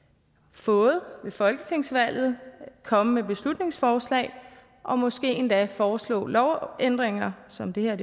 fået ved folketingsvalget komme med beslutningsforslag og måske endda foreslå lovændringer som det her